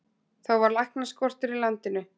Þá var læknaskortur í landinu.